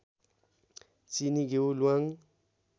चिनी घिउ ल्वाङ